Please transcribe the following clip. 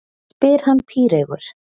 spyr hann píreygur.